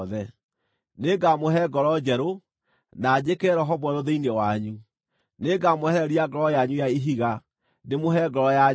Nĩngamũhe ngoro njerũ, na njĩkĩre roho mwerũ thĩinĩ wanyu; nĩngamwehereria ngoro yanyu ya ihiga, ndĩmũhe ngoro ya nyama.